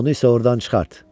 Onu isə ordan çıxart.